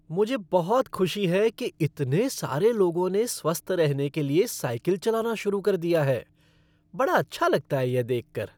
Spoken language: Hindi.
मुझे बहुत खुशी है कि इतने सारे लोगों ने स्वस्थ रहने के लिए साइकिल चलाना शुरू कर दिया है! बड़ा अच्छा लगता है यह देख कर।